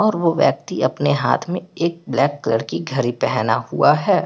और वो व्यक्ति अपने हाथ में एक ब्लैक कलर की घड़ी पहना हुआ हैं।